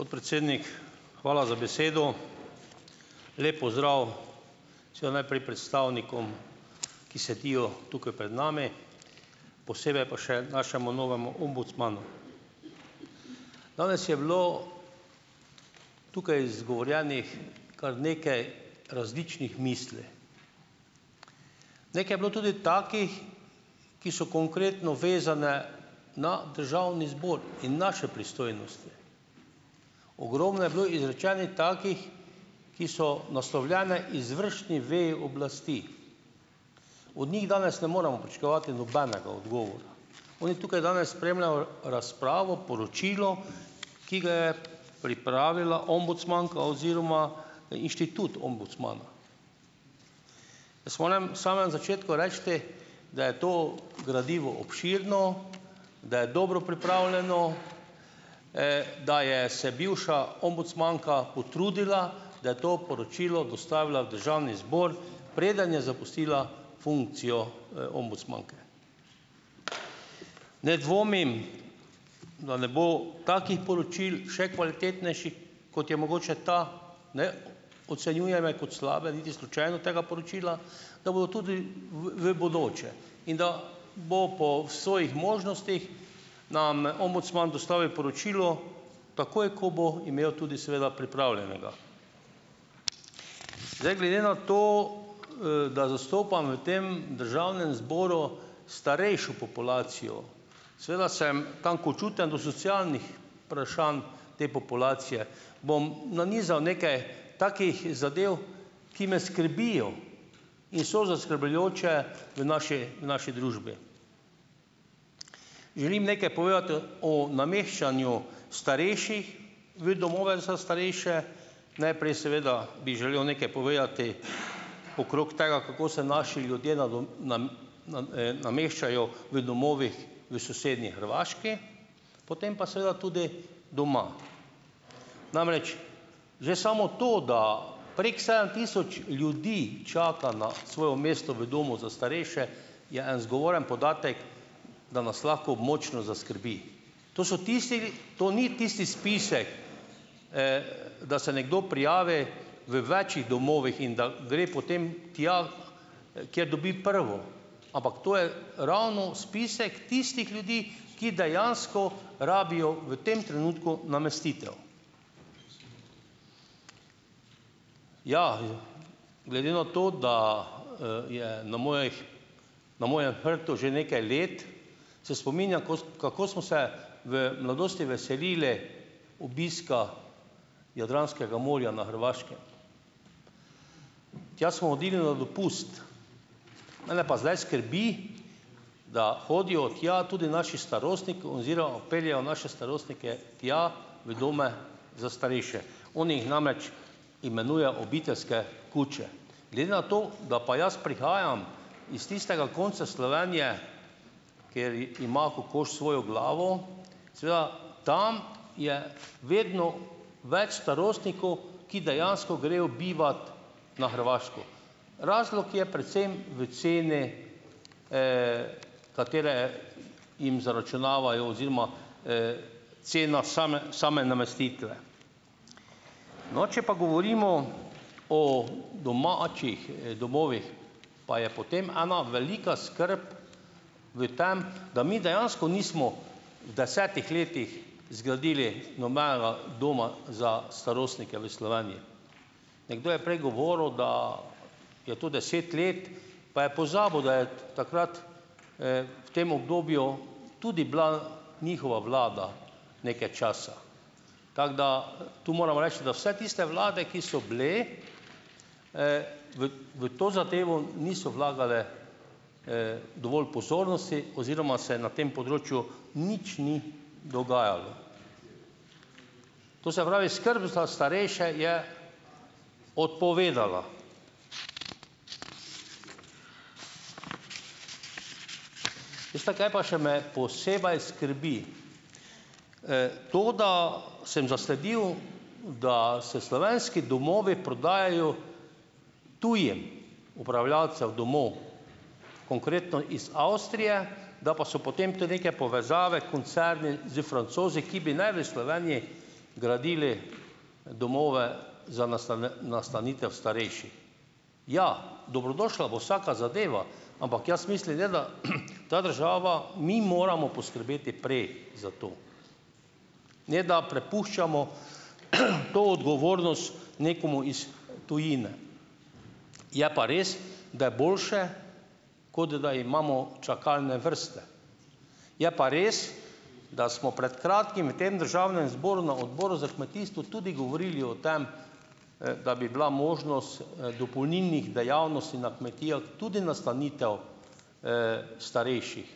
Podpredsednik, hvala za besedo. Lep pozdrav predstavnikom, ki sedijo tukaj pred nami, posebej pa še našemu novemu ombudsmanu! Danes je bilo tukaj izgovorjenih kar nekaj različnih misli. Nekaj je bilo tudi takih, ki so konkretno vezane na državni zbor in naše pristojnosti. Ogromno je bilo izrečenih takih, ki so naslovljene izvršni veji oblasti. Od njih danes ne moremo pričakovati nobenega odgovora, oni tukaj danes spremljajo razpravo o poročilu, ki ga je pripravila ombudsmanka oziroma inštitut ombudsmana. Jaz morem samem začetku reči, da je to gradivo obširno, da je dobro pripravljeno , da je se bivša ombudsmanka potrudila, da je to poročilo dostavila v državni zbor, preden je zapustila funkcijo, ombudsmanke. Ne dvomim, da ne bo takih poročil, še kvalitetnejših, kot je mogoče ta, ne, ocenjujem kot slabega niti slučajno tega poročila, da bo tudi v, v bodoče. In da bo po svojih možnostih nam ombudsman dostavil poročilo takoj, ko bo imel tudi seveda pripravljenega. glede na to, da zastopam v tem državnem zboru starejšo populacijo, seveda sem tankočuten do socialnih te populacije, bom nanizal nekaj takih zadev, ki me skrbijo in so zaskrbljujoče v naši, naši družbi. Želim nekaj povedati o nameščanju starejših v domove za starejše. Najprej, seveda, bi želel nekaj povedati okrog tega, kako se naši ljudje nameščajo v domovih v sosednji Hrvaški, potem pa seveda tudi doma. Namreč, že samo to, da prek sedem tisoč ljudi čaka na svoje mesto v domu za starejše, je en zgovoren podatek, da nas lahko močno zaskrbi. To so tistile, to ni tisti spisek, da se nekdo prijavi v večih domovih in da gre potem tja, kjer dobi prvo, ampak to je ravno spisek tistih ljudi, ki dejansko rabijo, v tem trenutku, namestitev. Ja, je, glede na to, da, je na mojih na mojem hrbtu že nekaj let, se spominjam ko, kako smo se v mladosti veselili obiska Jadranskega morja na Hrvaškem. Tja smo hodili na dopust. Mene pa zdaj skrbi, da hodijo tja tudi naši starostniki oziroma peljejo naše starostnike tja, v domove za starejše. Oni namreč imenuje obiteljske kuče. Glede na to, da pa jaz prihajam iz tistega konca Slovenije, kjer ima kokoš svojo glavo, tam je vedno več starostnikov, ki dejansko grejo bivat na Hrvaško. Razlog je predvsem v ceni, katere jim zaračunavajo oziroma, cena same same namestitve. No, če pa govorimo o domačih domovih, pa je potem ena velika skrb v tem, da mi dejansko nismo v desetih letih zgradili nobenega doma za starostnike v Slovenji. Nekdo je prej govoril, da je to deset let, pa je pozabil, da je takrat, v tem obdobju, tudi bila njihova vlada nekaj časa. Tako da tu moram reči, da vse tiste vlade, ki so bile, v v to zadevo niso vlagale, dovolj pozornosti oziroma se na tem področju nič ni dogajalo. To se pravi, skrb za starejše je odpovedala. Veste, kaj pa še me posebej skrbi? to, da sem zasledil, da se slovenski domovi prodajajo tujim upravljavcem domov, konkretno iz Avstrije, da pa so potem tu neke povezave, koncerni, s Francozi, ki bi naj v Slovenji gradili domove za nastanitev Ja, dobrodošla bo vsaka zadeva, ampak jaz ne da, ta država, mi moramo poskrbeti za to. Ne da prepuščamo, to nekomu iz tujine. Je pa res, da je boljše, kot da imamo čakalne vrste. Je pa res, da smo pred kratkim v tem državnem zboru, na odboru za kmetijstvo tudi govorili o tem, da bi bila možnost, dopolnilnih dejavnosti na kmetijah, tudi nastanitev, starejših,